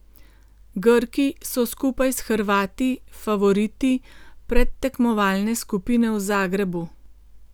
Grki so skupaj s Hrvati favoriti predtekmovalne skupine v Zagrebu.